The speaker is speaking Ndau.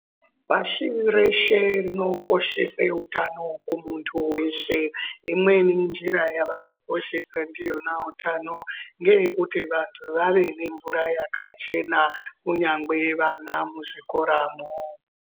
Pashi reshe rinokoshese utano kumuntu veshe. Imweni njira yavanokoshesa ndiyona utano ngeyekuti vantu vave nemvura yakachena, kunyangwe vana muzvikoramwo.